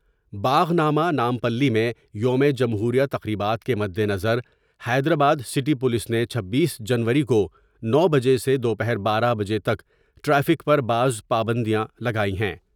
باغ نامہ نامپلی میں یوم جمہوریہ تقریبات کے مدنظر حیدرآباد سٹی پولیس نے چھبیس جنوری کو نو بجے سے دوپہر بارہ بجے تک ٹریک پر بعض پابندیاں لگائی ہیں ۔